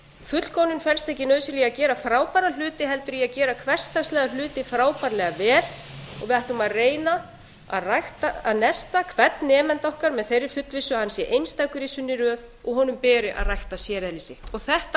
fullkomnun felst ekki nauðsynlega í að gera frábæra hluti held í að gera hversdagslega hluti frábærlega vel og við ættum að reyna að nesta hvern nemanda okkar með þeirri fullvissu að hann sé einstakur í sinni röð og honum beri að rækta séreðli sitt þetta á